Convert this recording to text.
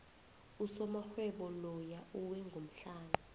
usomarhwebo loya uwe ngomhlana